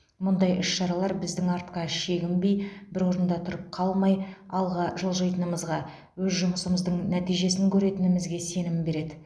мұндай іс шаралар біздің артқа шегінбей бір орында тұрып қалмай алға жылжитынымызға өз жұмысымыздың нәтижесін көретінімізге сенім береді